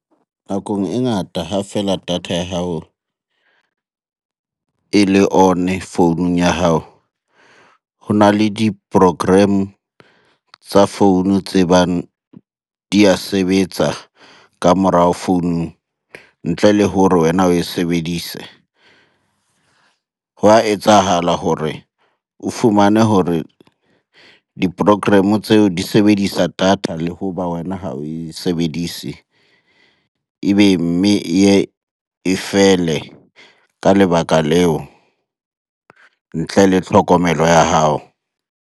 Nakong e ngata ha fela data ya hao e le on-e founung ya hao. Ho na le di-program tsa founu tse bang di a sebetsa ka morao founung ntle le hore wena oe sebedise. Hwa etsahala hore o fumane hore di-program-o tseo di sebedisa data le ho ba wena ha oe sebedise. Ebe mme e ye e fele ka lebaka leo ntle le hlokomelo ya hao.